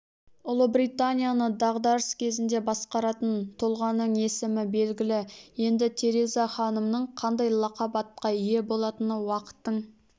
ұлыбританияны дағдарыс кезінде басқаратын тұлғаның есімі белгілі енді тереза ханымның қандай лақап атқа ие болатыны уақыттың